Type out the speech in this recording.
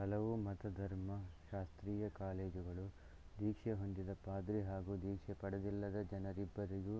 ಹಲವು ಮತಧರ್ಮಶಾಸ್ತ್ರೀಯ ಕಾಲೇಜುಗಳು ದೀಕ್ಷೆಹೊಂದಿದ ಪಾದ್ರಿ ಹಾಗೂ ದೀಕ್ಷೆ ಪಡೆದಿಲ್ಲದ ಜನರಿಬ್ಬರಿಗೂ